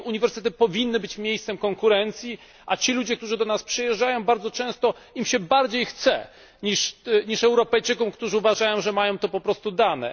Uniwersytet powinien być miejscem konkurencji, a tym ludziom, którzy do nas przyjeżdżają, bardzo często się bardziej chce niż Europejczykom, którzy uważają, że mają to po prostu dane.